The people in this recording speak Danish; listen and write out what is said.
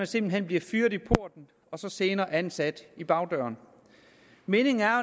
simpelt hen bliver fyret i porten og så senere ansat via bagdøren meningen er